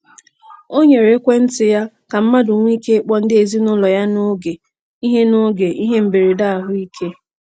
O nyere ekwentị ya ka mmadụ nwee ike ịkpọ ndị ezinụụlọ ya n'oge ihe n'oge ihe mberede ahụike.